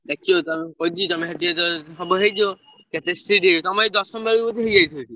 ଦେଖିଲୁ ତମେ ସେଠି ଯେତବଳେ ସବୁ ହେଇଯିବ କେତେ strict ହେଇ ତମ ଏଇ ଦଶମ ବେଳକୁ ବୋଧେ ହେଇ ଯାଇଥିବ ସେଠି?